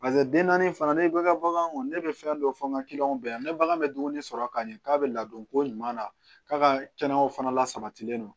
den naani fana ne bɛ ka bagan kɔnɔn ne bɛ fɛn dɔ fɔ n ka kiliyɔn bɛɛ ye ne bagan bɛ dumuni sɔrɔ ka ɲɛ k'a bɛ ladon ko ɲuman na k'a ka kɛnɛya fana lasabatilen don